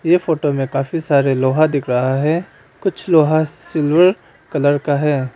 ये फोटो में काफी सारे लोहा दिख रहा है कुछ लोहा सिल्वर कलर का है।